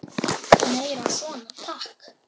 Meira svona, takk!